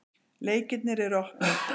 Leikirnir er opnir.